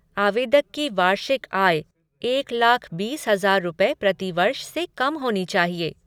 आवेदक की वार्षिक आय एक लाख बीस हजार रुपये प्रति वर्ष से कम होनी चाहिए।